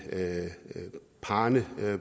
parrene